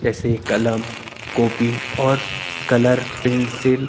जैसे कलम कॉपी और कलर पेंसिल --